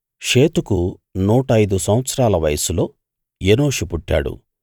షేతుకు నూట ఐదు సంవత్సరాల వయస్సులో ఎనోషు పుట్టాడు